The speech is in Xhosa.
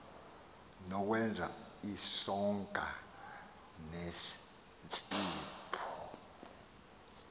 nokwenza isonka sentsipho